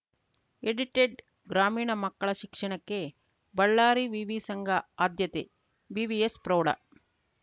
edited ಗ್ರಾಮೀಣ ಮಕ್ಕಳ ಶಿಕ್ಷಣಕ್ಕೆ ಬಳ್ಳಾರಿ ವಿವಿ ಸಂಘ ಆದ್ಯತೆ ವಿವಿಎಸ್‌ ಪ್ರೌಢ